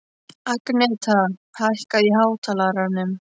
Agneta, hækkaðu í hátalaranum.